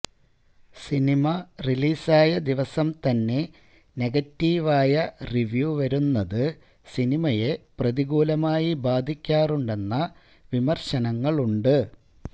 cinema റിലീസായ ദിവസം തന്നെ നെഗറ്റീവ് ആയ റിവ്യു വരുന്നത് സിനിമയെ പ്രതികൂലമായി ബാധിക്കാറുണ്ടെന്ന വിമര്ശനങ്ങളുണ്ട്